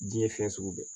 Diɲɛ ye fɛn sugu bɛɛ